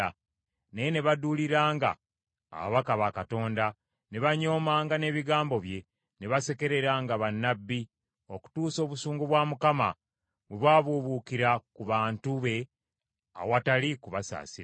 Naye ne baduuliranga ababaka ba Katonda, ne banyoomanga n’ebigambo bye, ne basekereranga bannabbi be, okutuusa obusungu bwa Katonda bwe bwabuubuukira ku bantu be awatali kubasaasira.